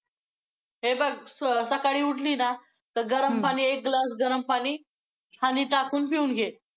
हे बघ सकाळी उठली ना, तर गरम पाणी एक glass गरम पाणी honey टाकून पिऊन घे.